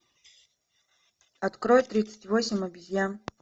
открой тридцать восемь обезьян